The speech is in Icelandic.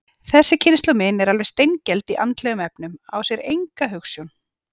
Þessi kynslóð mín er alveg steingeld í andlegum efnum, á sér enga hugsjón.